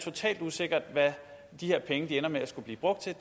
totalt usikkert hvad de her penge ender med at skulle blive brugt til